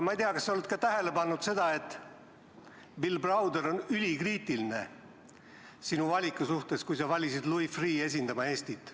Ma ei tea, kas sa oled tähele pannud ka seda, et Bill Browder on ülikriitiline sinu valiku suhtes, kui valisid Louis Freeh' esindama Eestit.